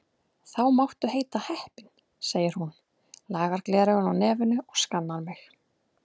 Þá máttu heita heppin, segir hún, lagar gleraugun á nefinu og skannar mig.